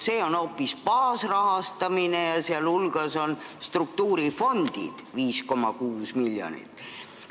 See on hoopis baasrahastamine, mille hulgas on struktuurifondide raha 5,6 miljonit.